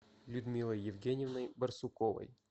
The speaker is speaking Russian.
людмилой евгеньевной барсуковой